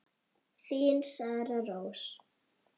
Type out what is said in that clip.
Þín, Sara Rós.